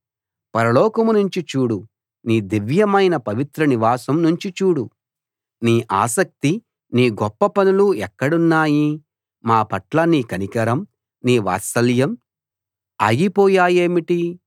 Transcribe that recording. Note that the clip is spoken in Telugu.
పరలోకం నుంచి చూడు నీ దివ్యమైన పవిత్ర నివాసం నుంచి చూడు నీ ఆసక్తి నీ గొప్పపనులు ఎక్కడున్నాయి మా పట్ల నీ కనికరం నీ వాత్సల్యం ఆగిపోయాయేమిటి